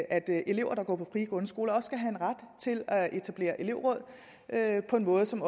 at elever der går på frie grundskoler også skal have en ret til at etablere elevråd på en måde som